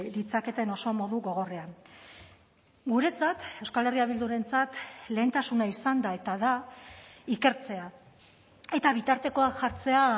ditzaketen oso modu gogorrean guretzat euskal herria bildurentzat lehentasuna izan da eta da ikertzea eta bitartekoak jartzea